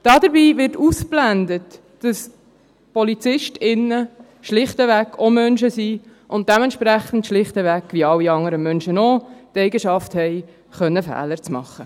Dabei wird ausgeblendet, dass Polizistinnen und Polizisten schlichtweg auch Menschen sind und dementsprechend – wie alle anderen Menschen auch – schlichtweg die Eigenschaft haben, Fehler machen zu können.